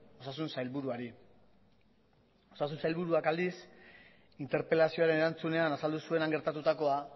osasun sailburuari osasun sailburuak aldiz interpelazioaren erantzunean azaldu zuen han gertatutakoa